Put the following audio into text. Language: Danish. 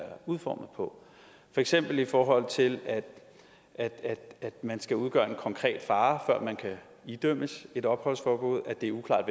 udformet på for eksempel i forhold til at man skal udgøre en konkret fare før man kan idømmes et opholdsforbud at det er uklart